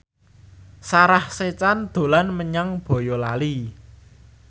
Sarah Sechan dolan menyang Boyolali